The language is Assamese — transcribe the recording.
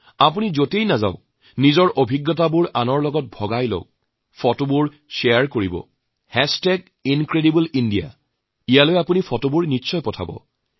আপোনালোকে যলৈকে যায় নিজৰ অভিজ্ঞতা আৰু ছবি শ্বেয়াৰ কৰক incredibleindiaত অৱশ্যেই আপোনালোকে ছবি পঠাব